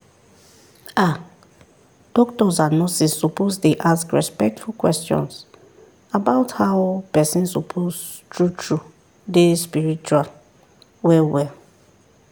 ah doctors and nurses suppose dey ask respectful questions about how person suppose true true dey spitual well well